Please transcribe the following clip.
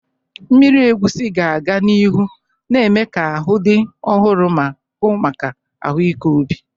Mmiri egusi ga-aga n'ihu na-eme ka ahụ dị ọhụrụ ma hụ maka ahụike obi.